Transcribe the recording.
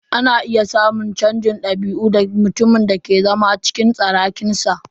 Ana iya samun canjin dabi'u ga mutumin da ke zama cikin tsarakinsa.